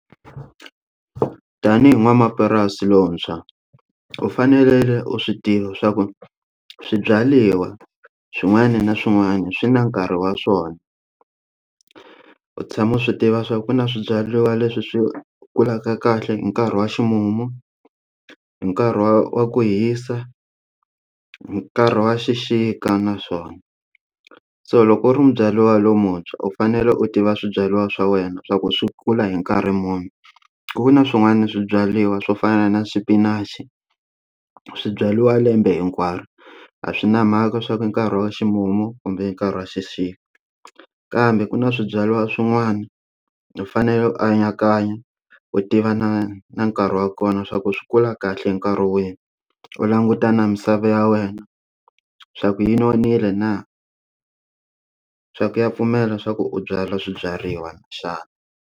Tanihi n'wamapurasi lontshwa u fanele u swi tiva swa ku swibyariwa swin'wana na swin'wana swi na nkarhi wa swona u tshama u swi tiva swa ku na swibyariwa leswi swi kulaka kahle hi nkarhi wa ximumu hi nkarhi wa ku hisa nkarhi wa xixika na swona so loko u ri mubyariwa lomuntshwa u fanele u tiva swibyariwa swa wena swa ku swi kula hi nkarhi muni ku na swin'wana na swibyariwa swo fana na xipinachi swibyariwa lembe hinkwaro a swi na mhaka swa ku hi nkarhi wa ximumu kumbe nkarhi wa xixika kambe ku na swibyariwa swin'wana u fanele u anakanya u tiva na na nkarhi wa kona swa ku swi kula kahle nkarhi wihi u languta na misava ya wena swa ku yi nonile na swa ku ya pfumela swa ku u byala swibyariwa xana.